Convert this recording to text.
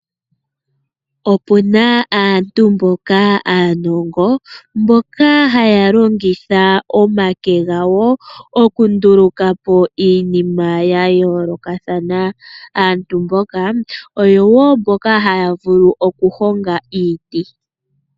Opuna aantu mboka aanongo, mboka haya longitha omake gawo okundulukapo iinima yayoolokathana. Aantu mboka oyo wo mboka haya vulu okuhonga iiti.